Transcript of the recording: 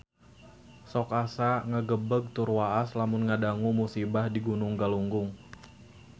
Sok asa ngagebeg tur waas lamun ngadangu musibah di Gunung Galunggung